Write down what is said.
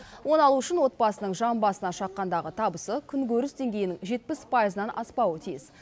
оны алу үшін отбасының жан басына шаққандағы табысы күнкөріс деңгейінің жетпіс пайызынан аспауы тиіс